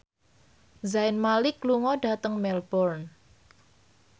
Zayn Malik lunga dhateng Melbourne